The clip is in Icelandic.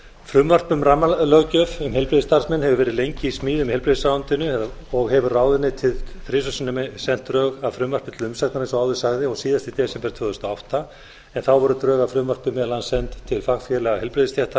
frumvarp um rammalöggjöf um heilbrigðisstarfsmenn hefur verið lengi í smíðum í heilbrigðisráðuneytinu og hefur ráðuneytið þrisvar sinnum sent drög að frumvarpi til umsagnar eins og áður sagði síast í desember tvö þúsund og átta en þá voru drög að frumvarpi meðal annars send til fagfélaga heilbrigðisstétta